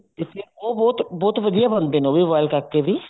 ਇਸ ਲਈ ਉਹ ਬਹੁਤ ਬਹੁਤ ਵਧੀਆ ਬਣਦੇ ਨੇ ਉਹ ਵੀ boil ਕਰਕੇ ਵੀ